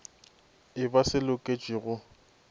e ba se loketšwe go